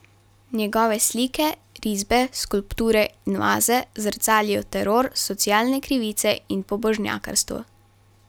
Njegove slike, risbe, skulpture in vaze zrcalijo teror, socialne krivice in pobožnjakarstvo.